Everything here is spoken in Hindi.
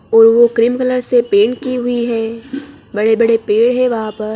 और वह क्रीम कलर से पेंट की हुई हैं बड़े-बड़े पेड़ है वहाँ पैर--